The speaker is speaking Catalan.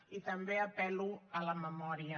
i també apel·lo a la memòria